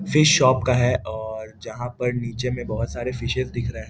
fish shop का है और जहाँ पर नीचे में बहुत सारे फिशेस दिख रहे --